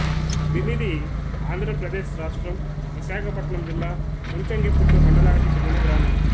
భిమిదిఆంధ్ర ప్రదేశ్ రాష్ట్రం విశాఖపట్నం జిల్లా ముంచంగిపుట్టు మండలానికి చెందిన గ్రామం